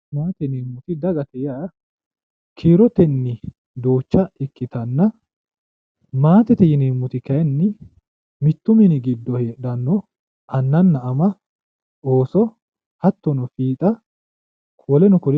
Dagate yaa kiirotenni duucha ikkitanna, maatete yinneemmoti kayinni mittu mini giddo. heedhanno annanna ama ooso hattono fiixa woleno kuri lawannore